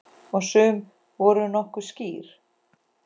Og sum voru nokkuð skýr.